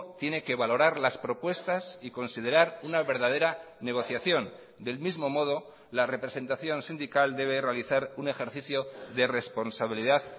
tiene que valorar las propuestas y considerar una verdadera negociación del mismo modo la representación sindical debe realizar un ejercicio de responsabilidad